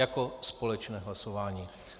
Jako společné hlasování.